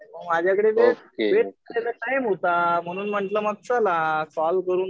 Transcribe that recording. मग माझ्याकडे वेट करायला टाइम होता. म्हणून म्हणलं चला कॉल करू.